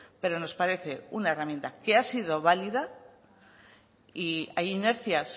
pero nos parece una herramienta que ha sido válida y hay inercias